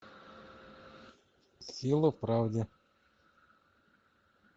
сила в правде